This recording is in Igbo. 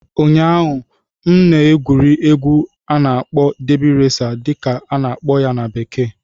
Ụnyaahụ, m na-egwuri egwu na "derby racer" dị ka a na-akpọ ya na ólú bekee